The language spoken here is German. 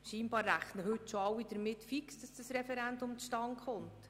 Anscheinend rechnen heute schon alle fest damit, dass das Referendum zustande kommt.